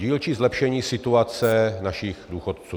Dílčí zlepšení situace našich důchodců.